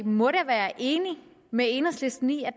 må da være enig med enhedslisten i at